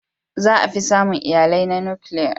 Za a fi samun iyalai na nukiliya.